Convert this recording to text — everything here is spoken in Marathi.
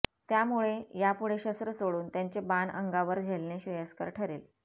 ज्यामुळे यापुढे शस्त्र सोडून त्यांचे बाण अंगावर झेलणे श्रेयस्कर ठरेल